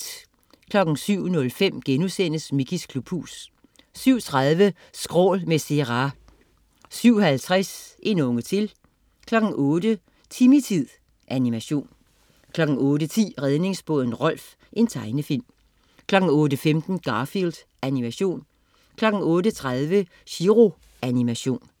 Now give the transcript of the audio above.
07.05 Mickeys klubhus* 07.30 Skrål med Zerah 07.50 En unge til 08.00 Timmy-tid. Animation 08.10 Redningsbåden Rolf. Tegnefilm 08.15 Garfield. Animation 08.30 Chiro. Animation